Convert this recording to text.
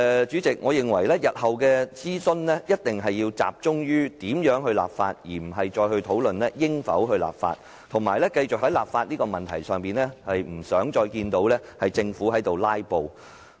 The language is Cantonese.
主席，我認為日後的諮詢必須集中在如何立法，而不應再討論應否立法，我不想在立法問題上看到政府"拉布"。